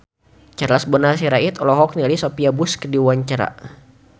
Charles Bonar Sirait olohok ningali Sophia Bush keur diwawancara